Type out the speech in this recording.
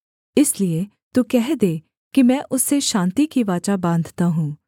इसलिए तू कह दे कि मैं उससे शान्ति की वाचा बाँधता हूँ